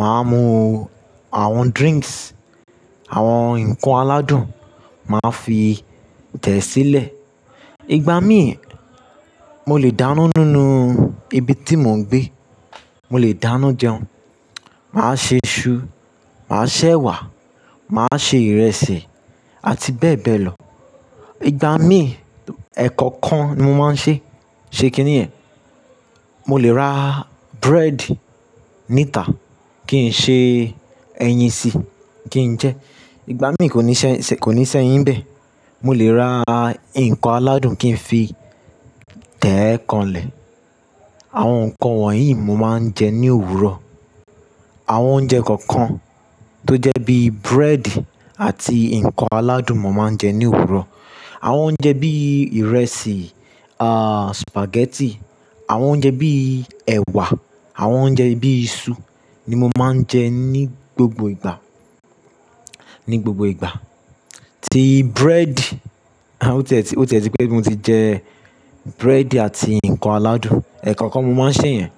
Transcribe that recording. Máa mú àwọn drinks, àwọn ǹkan aládùn, màá fi tẹ̀ sílẹ̀. Ìgbà mí, mo lè dáná nínú ibi tí mò ń gbé. Mo lè dáná jẹun. Màá ṣe isu, màá ṣẹ́ ẹ̀wà, màá ṣe ìrẹsì àti bẹ́ẹ̀ bẹ́ẹ̀ lọ. Ìgbà mí, ẹ̀ kankan ni mo máa ń ṣe. Ṣe kí ni ẹ̀? Mo lè ra bread níta, kí n ṣe ẹyin sí i kí n jẹ. Ìgbà mí kò ní sẹ, kò ní si ẹ́yín n bẹ́. Mo lè ra ǹkan aládùn kí n fi tẹ́ e kan lẹ̀. Àwọn nǹkan wọ̀nyí mo máa ń jẹ ní òwúrọ̀. Àwọn oúnjẹ kọ̀ọ̀kan tó jẹ́ bí bread àti ǹkan aládùn mo máa ń jẹ ní òwúrọ̀. Àwọn oúnjẹ bí ìrẹsì, ah spaghetti, àwọn oúnjẹ bí ẹ̀wà, àwọn oúnjẹ bí iṣu ni mo máa ń jẹ ní gbogbo ìgbà, ní gbogbo ìgbà. Tí bread, a ó ti ẹ ó ti ẹ pé, tí mo ti jẹ bread àti ǹkan aládùn, ẹ̀ kankan mo máa ń sè yẹn.